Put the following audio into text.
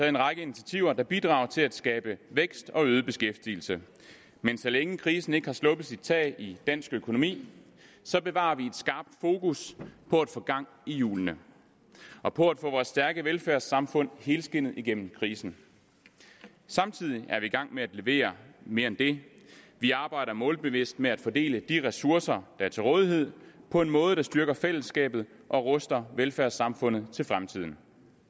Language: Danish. en række initiativer der bidrager til at skabe vækst og øget beskæftigelse men så længe krisen ikke har sluppet sit tag i dansk økonomi bevarer vi et skarpt fokus på at få gang i hjulene og på at få vores stærke velfærdssamfund helskindet igennem krisen samtidig er vi i gang med at levere mere end det vi arbejder målbevidst med at fordele de ressourcer der er til rådighed på en måde der styrker fællesskabet og ruster velfærdssamfundet til fremtiden